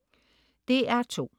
DR2: